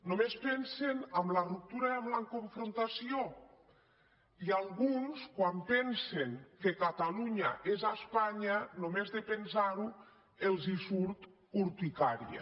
només pensen en la ruptura i en la confrontació i alguns quan pensen que catalunya és espanya només de pensar·ho els surt urticària